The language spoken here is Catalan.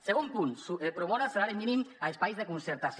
segon punt promoure el salari mínim a espais de concertació